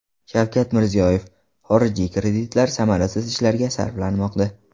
Shavkat Mirziyoyev: Xorijiy kreditlar samarasiz ishlarga sarflanmoqda.